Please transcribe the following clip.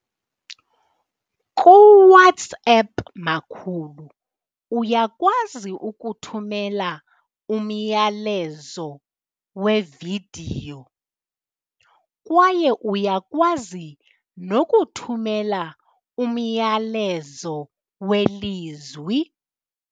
KuWhatsapp, makhulu, uyakwazi ukuthumela umyalezo wevidiyo kwaye uyakwazi nokuthumela umyalezo welizwi.